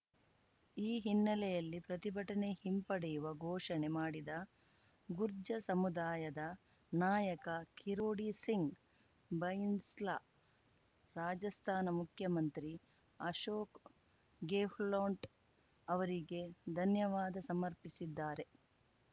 ಈ ಹಿನ್ನೆಲೆಯಲ್ಲಿ ಪ್ರತಿಭಟನೆ ಹಿಂಪಡೆಯುವ ಘೋಷಣೆ ಮಾಡಿದ ಗುರ್ಜ್ಜ ಸಮುದಾಯದ ನಾಯಕ ಕಿರೋಡಿ ಸಿಂಗ್‌ ಬೈನ್‌ಸ್ಲಾ ರಾಜಸ್ಥಾನ ಮುಖ್ಯಮಂತ್ರಿ ಅಶೋಕ್‌ ಗೆಹ್ಲೋಟ್‌ ಅವರಿಗೆ ಧನ್ಯವಾದ ಸಮರ್ಪಿಸಿದ್ದಾರೆ